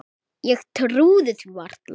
Ég trúði því varla.